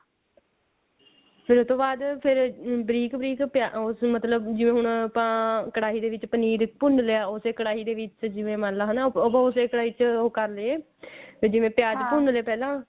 ਫੇਰ ਉਹ ਤੋਂ ਬਾਅਦ ਫੇਰ ਬਰੀਕ ਬਰੀਕ ਉਹ ਸੀ ਮਤਲਬ ਜਿਵੇਂ ਹੁਣ ਆਪਾਂ ਕੜਾਹੀ ਦੇ ਵਿੱਚ ਪਨੀਰ ਭੁੰਨ ਲਿਆ ਉਸੇ ਕੜਾਹੀ ਦੇ ਵਿੱਚ ਜਿਵੇਂ ਮੰਨ ਲੋ ਹਨਾ ਉਹ ਕਰ ਲਏ ਜਿਵੇਂ ਪਿਆਜ ਭੁੰਨ ਲੇ ਪਹਿਲਾਂ